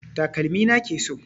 Takalmi na ke so.